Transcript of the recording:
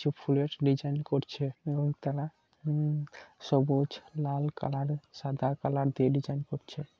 কিছু ফুলের ডিজাইন করছে এবং তারা উম সবুজ লাল কালার সাদা কালার দিয়ে ডিজাইন করছে।